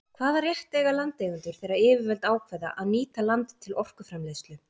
Hvaða rétt eiga landeigendur þegar yfirvöld ákveða að nýta land til orkuframleiðslu?